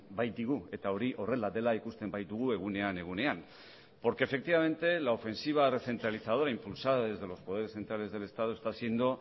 baitigu eta hori horrela dela ikusten baitugu egunean egunean porque efectivamente la ofensiva recentralizadora impulsada desde los poderes centrales del estado está siendo